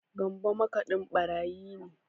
Gambu makaɗin ɓarayi ne